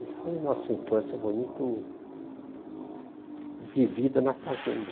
Isso foi nossa infância, foi muito vivida na fazenda.